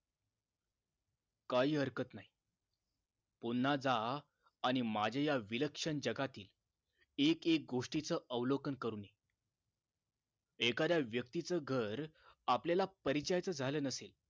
काही हरकत नाही पुन्हा जा आणि माजी या विलक्षण जगातील एक एक गोष्टीच अवलोकन करून ये एखाद्या व्यक्तीच घर आपल्याला परिचयाचे झाले नसेल